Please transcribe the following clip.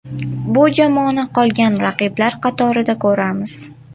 Bu jamoani qolgan raqiblar qatorida ko‘ramiz.